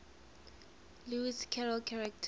lewis carroll characters